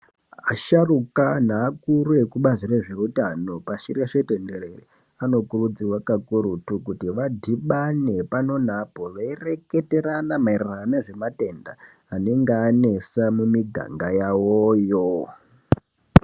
Asharuka anhu akuru ekubazi rezveutano pashireshe tenderere anokurudzirwa kakurutu kuti vadhibane pano neapo veireketerana maererano nezvematenda anenge anesa mumiganga yawoyo.